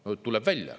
Tuleb nii välja.